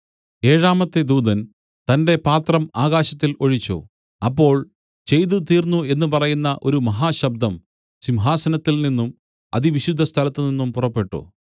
ഏഴാമത്തെ ദൂതൻ തന്റെ പാത്രം ആകാശത്തിൽ ഒഴിച്ചു അപ്പോൾ ചെയ്തു തീർന്നു എന്നു പറയുന്ന ഒരു മഹാശബ്ദം സിംഹാസനത്തിൽ നിന്നും അതിവിശുദ്ധസ്ഥലത്ത് നിന്നും പുറപ്പെട്ടു